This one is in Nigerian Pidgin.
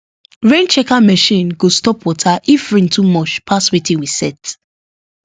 rain checker machine go stop water if rain too much pass wetin we set